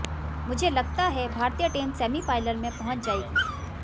मुझे लगता है भारतीय टीम सेमीफाइनल में पहुंच जाएगी